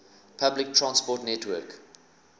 public transport network